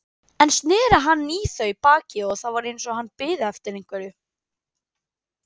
Enn sneri hann í þau baki og það var eins og hann biði eftir einhverju.